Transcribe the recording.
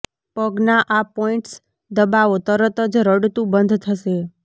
પગના આ પોઇન્ટ્સ દબાવો તરત જ રડતું બંધ થશે